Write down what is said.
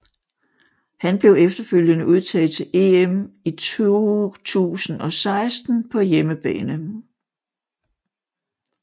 Han blev efterfølgende udtaget til EM i 2016 på hjemmebane